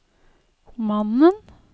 mannen